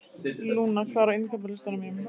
Luna, hvað er á innkaupalistanum mínum?